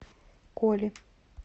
коли